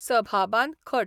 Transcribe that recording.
सभाबान खट.